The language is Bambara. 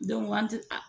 an ti a